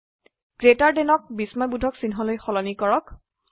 greater দেনক বিস্ময়বোধক চিহ্ন লৈ সলনি কৰক